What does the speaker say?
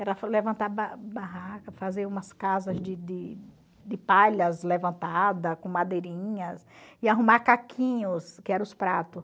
Era levantar ba barraca, fazer umas casas de de de palhas levantada, com madeirinhas, e arrumar caquinhos, que era os prato.